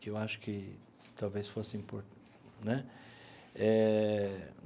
que eu acho que talvez fosse importante né eh.